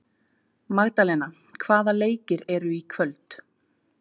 Það voru svolítil afföll af hópnum í dag af þessari tegund leikmanna.